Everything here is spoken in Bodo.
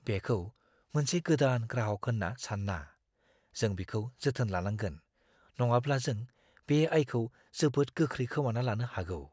बेखौ मोनसे गोदान ग्राहक होन्ना सान्ना, जों बिखौ जोथोन लानांगोन, नङाब्ला जों बे आयखौ जोबोद गोख्रै खोमाना लानो हागौ।